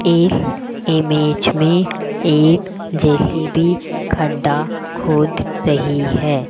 इस इमेज में एक जे_सी_बी खड्डा खोद रही है।